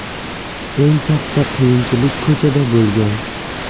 Eng katta qiyinchilik ko‘chada bo‘lgan.